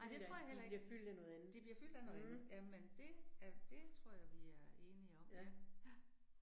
Nej det tror jeg heller ikke. De bliver fyldt af noget andet. Jamen det, er det tror jeg vi er enige om, ja, ja